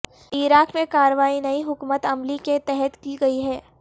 عراق میں کارروائی نئی حکمت عملی کے تحت کی گئی ہے